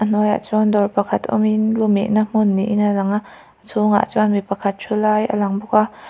a hnuaiah chuan dawr pakhat awmin luhmehna hmun niin a langa a chhungah chuan mi pakhat thu lai a lang bawk a.